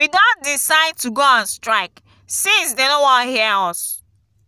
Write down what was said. we don decide to go on strike since dey no wan hear us